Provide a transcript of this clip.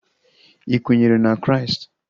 Ị kwenyere na Kraịst?